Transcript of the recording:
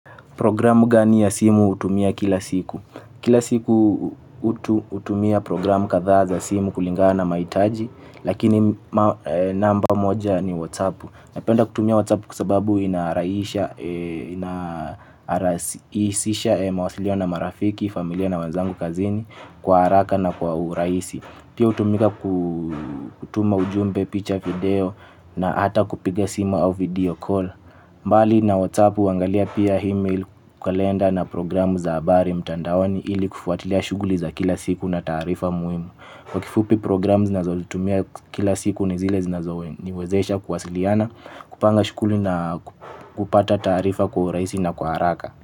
Programu gani ya simu hutumia kila siku. Kila siku hutumia programu kadhaa za simu kulingana na mahitaji. Lakini namba moja ni WhatsApp. Napenda kutumia WhatsApp kwa sababu inarahisisha mawasilio na marafiki, familia na wenzangu kazini. Kwa haraka na kwa urahisi pia hutumika kutuma ujumbe, picha video. Na hata kupiga simu au video call bali na WhatsApp huangalia pia email, kalenda na programu za habari mtandaoni ili kufuatilia shughuli za kila siku na taarifa muhimu. Kwa kifupi programu ninazozitumia kila siku ni zile zinazoniwezesha kuwasiliana kupanga shughuli na kupata taarifa kwa urahisi na kwa haraka.